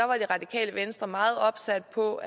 var det radikale venstre meget opsat på